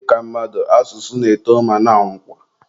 Dịka mmadụ, asụsụ na-eto ma na-anwụkwa.